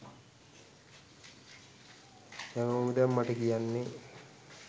හැමෝම දැන් මට කියන්නේ